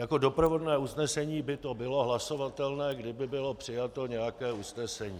Jako doprovodné usnesení by to bylo hlasovatelné, kdyby bylo přijato nějaké usnesení.